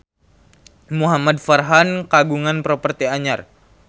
Muhamad Farhan kagungan properti anyar